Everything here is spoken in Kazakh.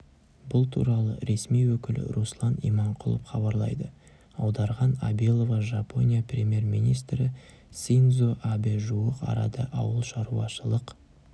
бұл туралы ресми өкілі руслан иманқұлов хабарлайды аударған абилова жапония премьер-министрі синдзо абэ жуық арада ауылшаруашылық